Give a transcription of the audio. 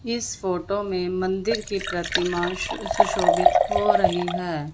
इस फोटो में मंदिर की प्रतिमा सुशोभित हो रही है।